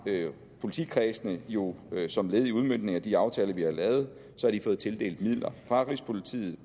politikredsene jo som led i udmøntningen af de aftaler vi har lavet fået tildelt midler fra rigspolitiet